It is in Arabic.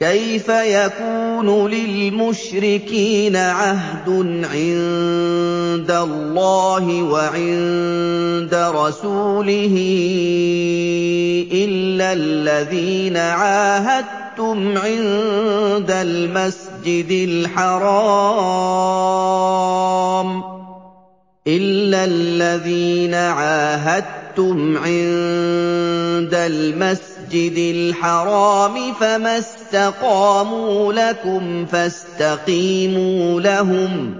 كَيْفَ يَكُونُ لِلْمُشْرِكِينَ عَهْدٌ عِندَ اللَّهِ وَعِندَ رَسُولِهِ إِلَّا الَّذِينَ عَاهَدتُّمْ عِندَ الْمَسْجِدِ الْحَرَامِ ۖ فَمَا اسْتَقَامُوا لَكُمْ فَاسْتَقِيمُوا لَهُمْ ۚ